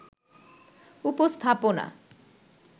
উপস্থাপনা